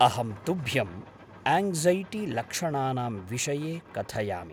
अहं तुभ्यं आङ्क्सैटिलक्षणानां विषये कथयामि।